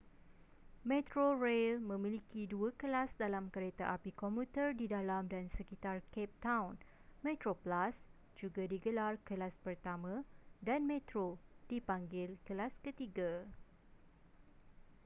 metrorail memiliki dua kelas dalam kereta api komuter di dalam dan sekitar cape town: metroplus juga digelar kelas pertama dan metro dipanggil kelas ketiga